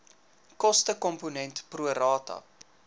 kostekomponent pro rata